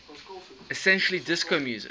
essentially disco music